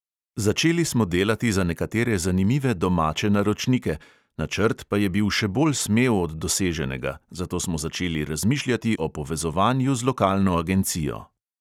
Začeli smo delati za nekatere zanimive domače naročnike, načrt pa je bil še bolj smel od doseženega, zato smo začeli razmišljati o povezovanju z lokalno agencijo.